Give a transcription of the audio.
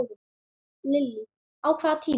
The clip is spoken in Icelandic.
Lillý: Á hvaða tíma?